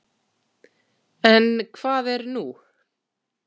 En hvað er nú?